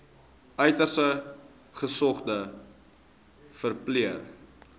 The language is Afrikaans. uiters gesogde verpleër